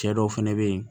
Cɛ dɔw fɛnɛ be yen